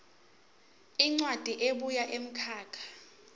incwadi ebuya kumkhakha